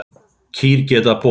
Kýr geta borið